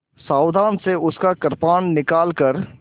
सावधानी से उसका कृपाण निकालकर